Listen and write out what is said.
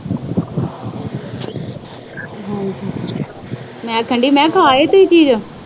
ਮੈਂ ਕਹਿਣ ਦਈ ਮੈਂ ਖਾ ਆਈ ਕੋਈ ਚੀਜ।